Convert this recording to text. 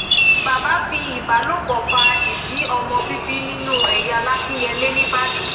baba fi ìbálòpọ fa ìdí ọmọ bíbí inú ẹ ya làkínyẹlé nìbàdàn